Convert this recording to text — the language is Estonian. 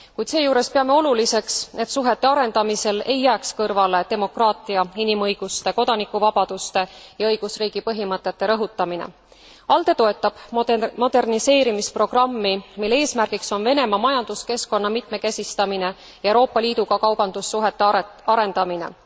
Kuid seejuures peame oluliseks, et suhete arendamisel ei jääks kõrvale demokraatia, inimõiguste, kodanikuvabaduste ja õigusriigi põhimõtete rõhutamine. ALDE toetab moderniseerimisprogrammi, mille eesmärgiks on Venemaa majanduskeskkonna mitmekesistamine ja Euroopa Liiduga kaubandussuhete arendamine.